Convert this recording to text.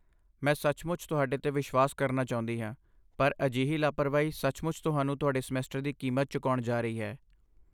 ਮੈਂ ਸੱਚਮੁੱਚ ਤੁਹਾਡੇ 'ਤੇ ਵਿਸ਼ਵਾਸ ਕਰਨਾ ਚਾਹੁੰਦੀ ਹਾਂ, ਪਰ ਅਜਿਹੀ ਲਾਪਰਵਾਹੀ ਸੱਚਮੁੱਚ ਤੁਹਾਨੂੰ ਤੁਹਾਡੇ ਸਮੈਸਟਰ ਦੀ ਕੀਮਤ ਚੁਕਾਉਣ ਜਾ ਰਹੀ ਹੈ।